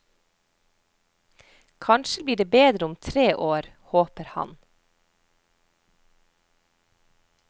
Kanskje blir det bedre om tre år, håper han.